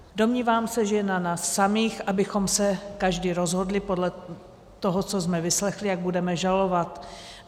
Domnívám se, že je na nás samých, abychom se každý rozhodli podle toho, co jsme vyslechli, jak budeme hlasovat.